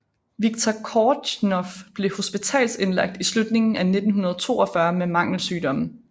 Viktor Kortjnoj blev hospitalsindlagt i slutningen af 1942 med mangelsygdomme